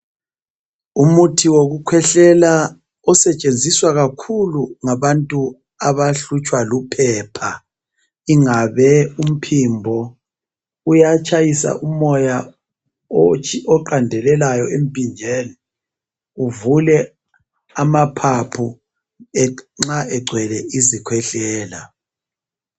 Umuthi wokuhwehlela osetshenziswa kakhulu ngabantu abahlutshwa luphepha ,Ingabe umphimbo uyatshayisa umoya oqandellayo emphinjeni uvule amaphapho nxa egcwele izikhwehlela.